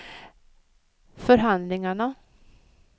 förhandlingarna